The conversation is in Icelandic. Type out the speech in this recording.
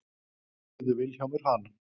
spurði Vilhjálmur hana.